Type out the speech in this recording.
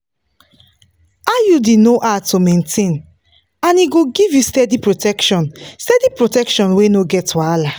iud no hard to maintain and e go give you steady protection steady protection wey no get wahala.